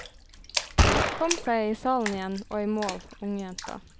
Kom seg i salen igjen og i mål, ungjenta.